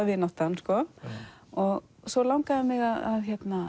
vináttan svo langaði mig að